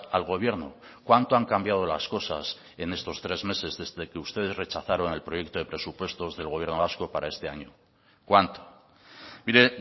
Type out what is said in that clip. al gobierno cuánto han cambiado las cosas en estos tres meses desde que ustedes rechazaron el proyecto de presupuestos del gobierno vasco para este año cuánto mire